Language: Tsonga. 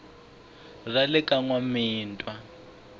ra le ka n wamitwa